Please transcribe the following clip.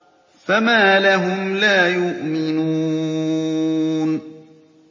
فَمَا لَهُمْ لَا يُؤْمِنُونَ